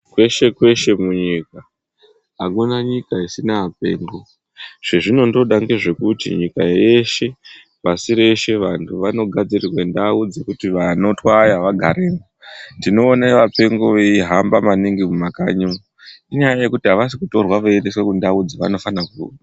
Kweshe kweshe munyika hakuna nyika isina apengo, zvazvinongdoda kei ngezvekuti nyka yes ne pasi rese kugadzirwe ndau dzekuti vanotwaya vanogaremwo tinoona kuti vapengo vei hambamaningi mumakanyi mwo indaa yekuti havasi kutorwa vachiendesa kundau dzavanofana ku........